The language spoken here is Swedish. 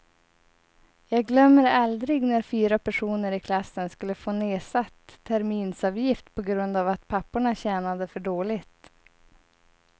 Jag glömmer aldrig när fyra personer i klassen skulle få nedsatt terminsavgift på grund av att papporna tjänade för dåligt.